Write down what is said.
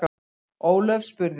Ólöf spurði: